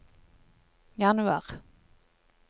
januar